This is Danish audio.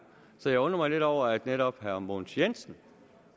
så jeg undrer mig lidt over at netop herre mogens jensen